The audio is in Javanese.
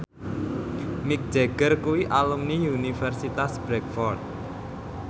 Mick Jagger kuwi alumni Universitas Bradford